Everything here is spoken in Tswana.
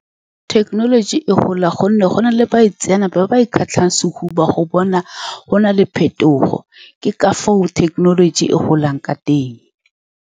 Thekenoloji e gola ka gonne go na le baitseanape ba ba ikgatlhang sehuba, go bona go na le phetogo. Ke ka foo thekenoloji e golang ka teng.